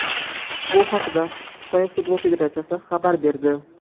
Bu haqda Xitoy futbol federatsiyasi xabar berdi .